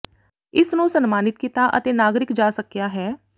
ਇਸ ਨੂੰ ਸਨਮਾਨਿਤ ਕੀਤਾ ਅਤੇ ਨਾਗਰਿਕ ਜਾ ਸਕਿਆ ਹੈ